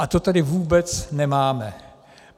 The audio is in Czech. A to tady vůbec nemáme.